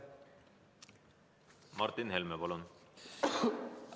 Martin Helme, palun!